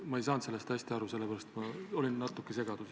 Ma ei saanud sellest hästi aru ja sellepärast ma olengi natuke segaduses.